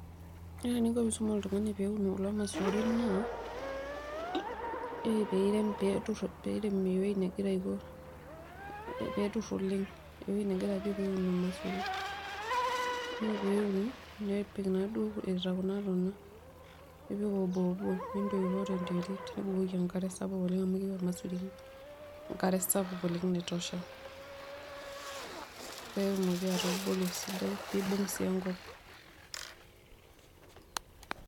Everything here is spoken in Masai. Ore eninko pee iisum oltungani eninko pee eun kulo masurin naa ore pee irem peetur ewueji negira Aiko peetur oleng ewueji nejo peetur olmasuri, ore peeun nepik taaduo Kuna tona, nipik oboobo, ninntoipoo tenterit nibukoki enkare sapuk oleng amu keyieu olmasuri enkare sapuk oleng, naitosha, peetumoki atubulu esidai pee eibung' sii enkop.